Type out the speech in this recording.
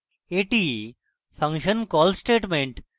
এটি function call statements